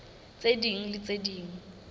tse ding le tse ding